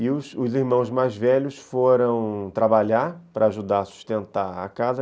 E os irmãos mais velhos foram trabalhar para ajudar a sustentar a casa.